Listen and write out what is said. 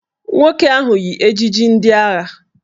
Nwoke ahụ yi ejiji ndị agha